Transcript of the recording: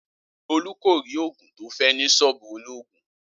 Olú kò rí ògùn tó fé̩ ní s̩ó̩ò̩bù olóògùn